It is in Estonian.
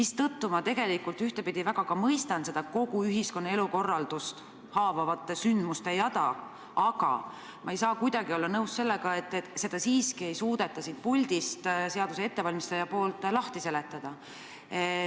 Seetõttu ma tegelikult ühtepidi mõistan kogu seda ühiskonna elukorraldust haavavate sündmuste jada, aga ma ei saa kuidagi olla nõus sellega, et eelnõu ettevalmistaja ei suuda seda siiski siin puldis lahti seletada.